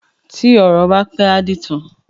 Tí ọ̀rọ̀ bá pẹ́, á dìtàn.